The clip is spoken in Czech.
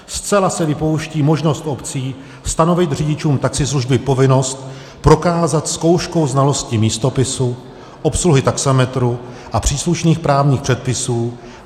Zcela se vypouští možnost obcí stanovit řidičům taxislužby povinnost prokázat zkouškou znalosti místopisu, obsluhy taxametru a příslušných právních předpisů.